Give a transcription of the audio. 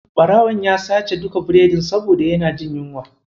Ɓarawon ya sace duka biredin saboda yana jin yunwa.